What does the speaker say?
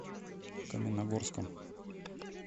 каменногорском